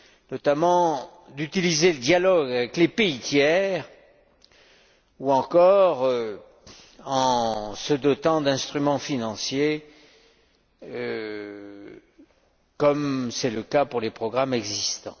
notamment d'utiliser le dialogue avec les pays tiers ou encore de nous doter d'instruments financiers, comme c'est le cas pour les programmes existants.